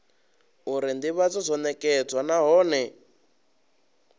uri ndivhadzo yo nekedzwa nahone